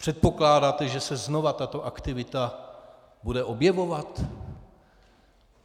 Předpokládáte, že se znova tato aktivita bude objevovat?